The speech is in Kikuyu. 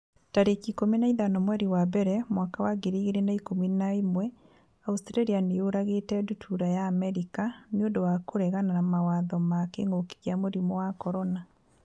tarĩki ikũmi na ithano mweri wa mbere mwaka wa ngiri igĩrĩ na ikũmi na ĩmweAustralia nĩ yũragĩte ndutura ya Amerika 'nĩ ũndũ wa kũregana mawatho ma kĩngũki kia mũrimũ wa CORONA